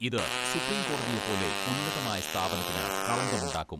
ഇത് സുപ്രീം കോടതിയെ പോലെ ഉന്നതമായ സ്ഥാപനത്തിന് കളങ്കം ഉണ്ടാക്കും.